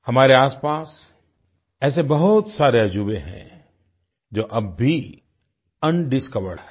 हमारे आसपास ऐसे बहुत सारे अजूबे हैं जो अब भी अनडिस्कवर्ड हैं